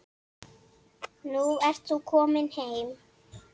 Nú ert þú komin heim.